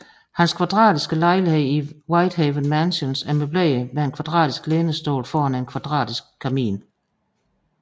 Hans kvadratiske lejlighed i Whitehaven Mansions er møbleret med en kvadratisk lænestol foran en kvadratisk kamin